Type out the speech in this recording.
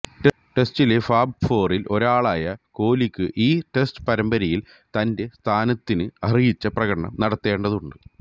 ടെസ്റ്റിലെ fab ഫോറില് ഒരാളായ കോലിക്കു ഈ ടെസ്റ്റ് പരമ്പരയില് തന്റെ സ്ഥാനത്തിന് അര്ഹിച്ച പ്രകടനം നടത്തേണ്ടതുണ്ട്